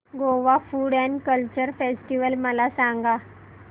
Goa food and culture festival मला सांगा